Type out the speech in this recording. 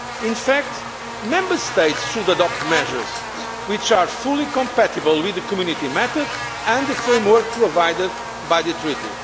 In fact, Member States should adopt measures which are fully compatible with the Community method and the framework provided by the